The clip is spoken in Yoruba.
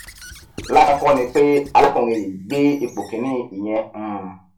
lásán kọ ni pé alákùnrin yìí gbé ipò kíní ìyẹn um